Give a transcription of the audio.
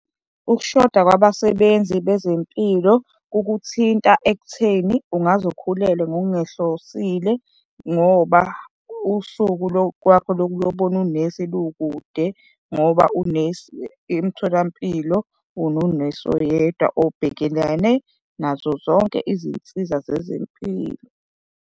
Ukushoda kwabasebenzi bezempilo kukuthinta ekutheni ungazi ukhulelwe ngokungehlosile ngoba usuku kwakho lokuyobona unesi lukude ngoba unesi emtholampilo unonesi oyedwa obhekelene nazo zonke izinsiza zezempilo.